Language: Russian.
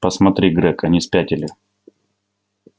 посмотри грег они спятили